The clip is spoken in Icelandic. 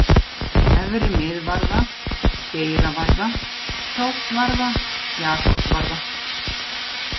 Efri-Miðvarða, Geiravarða, Krókvarða, Jakobsvarða